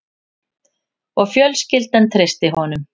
Og fjölskyldan treysti honum